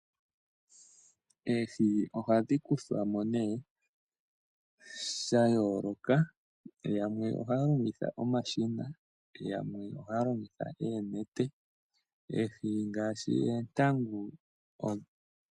Oohi ohadhi kuthwa mo nee sha yooloka, yamwe ohaya longitha omashina, yamwe ohaya longitha oonete. Oohi ngaashi oontangu.